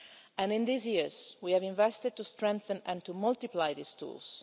In these years, we have invested to strengthen and to multiply these tools.